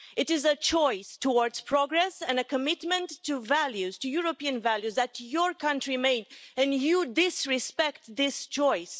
It is a choice towards progress and a commitment to European values that your country made and you disrespect this choice.